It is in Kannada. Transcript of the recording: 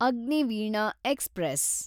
ಅಗ್ನಿವೀಣಾ ಎಕ್ಸ್‌ಪ್ರೆಸ್